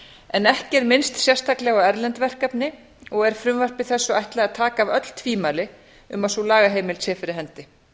en ekki er minnst sérstaklega á erlend verkefni og er frumvarpi þessu ætlað að taka af öll tvímæli um að sú lagaheimild sé fyrir hendi